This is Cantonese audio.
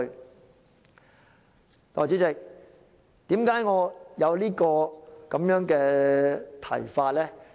代理主席，為何我有這個提議呢？